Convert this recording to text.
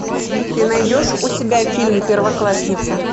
ты найдешь у себя фильм первоклассница